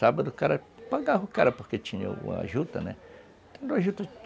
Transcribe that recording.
Sábado o cara, pagava o cara, porque tinha a juta, né?